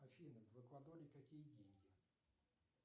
афина в эквадоре какие деньги